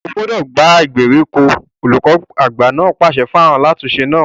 O gbúdọ̀ gbá ìgbèríko! olùkọ àgbà náà pàṣẹ fún alátùn-ún-se náà.